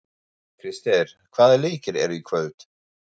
Krister, hvaða leikir eru í kvöld?